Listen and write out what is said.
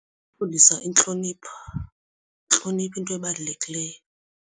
Kukufundisa intlonipho. yintlonipho into ebalulekileyo.